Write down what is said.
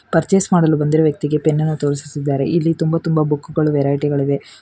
Purchase ಮಾಡಲು ಬಂದಿರುವ ವ್ಯಕ್ತಿಗೆ ಪೆನ್ನ ನ್ನು ತೋರಿಸಿಸಿದ್ದಾರೆ ಇಲ್ಲಿ ತುಂಬಾ ತುಂಬಾ ಬುಕ್ಕು ಗಳು ವೆರೈಟಿ ಗಳಿವೆ.